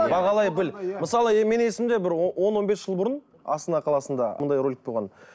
бағалай біл мысалы мен есімде бір он он бес жыл бұрын астана қаласында мұндай ролик болған